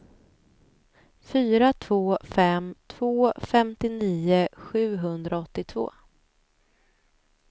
fyra två fem två femtionio sjuhundraåttiotvå